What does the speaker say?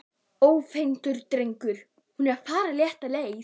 Ónefndur drengur: Er hún að fara rétta leið?